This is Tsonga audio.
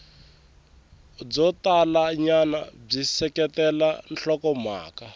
byo talanyana byi seketela nhlokomhaka